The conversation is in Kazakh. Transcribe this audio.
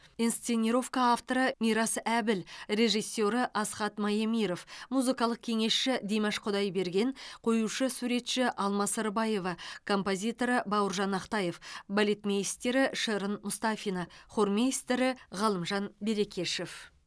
инсценировка авторы мирас әбіл режиссері асхат маемиров музыкалық кеңесші димаш құдайберген қоюшы суретші алма сырбаева композиторы бауыржан ақтаев балетмейстері шырын мұстафина хормейстері ғалымжан берекешев